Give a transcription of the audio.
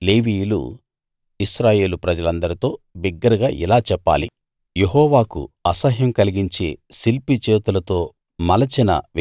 అప్పుడు లేవీయులు ఇశ్రాయేలు ప్రజలందరితో బిగ్గరగా ఇలా చెప్పాలి యెహోవాకు అసహ్యం కలిగించే శిల్పి చేతులతో